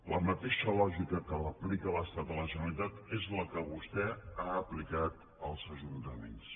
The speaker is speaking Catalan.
la mateixa lògica que aplica l’estat a la generalitat és la que vostè ha aplicat als ajuntaments